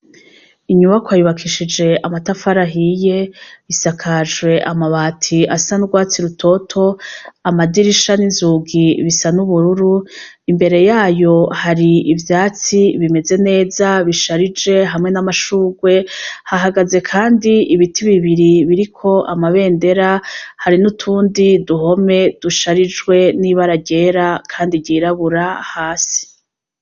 Inyubakwa yubakishije amatafari ahiye, isakajwe n'amabati asa n'urwatsi rutoto, amadirisha n'inzugi bisa n'ubururu, imbere yayo hari ivyatsi bimeze neza bisharije hamwe n'amashurwe, hahagaze kandi ibiti bibiri biriko amabendera, hari n'utundi duhome dusharijwe n'ibara ryera kandi ry'irabura hasi.